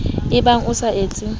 c ebang o sa etse